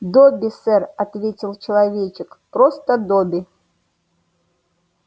добби сэр ответил человечек просто добби